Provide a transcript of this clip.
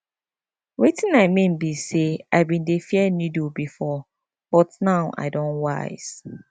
wetin i mean be say i bin dey fear needle before but now i don wise